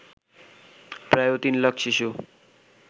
প্রায় ৩ লাখ শিশু